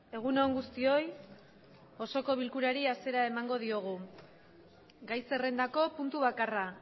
gai bakarra